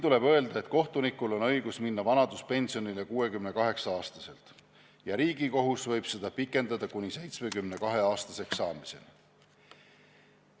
Tuleb märkida, et kohtunikul on õigus minna vanaduspensionile 68-aastaselt ja Riigikohus võib seda pikendada kuni 72-aastaseks saamiseni.